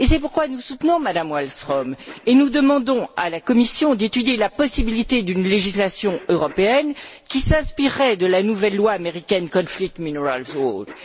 C'est pourquoi nous soutenons Mme Wallström et nous demandons à la Commission d'étudier la possibilité d'une législation européenne qui s'inspirerait de la nouvelle loi américaine, le Conflict minerals act.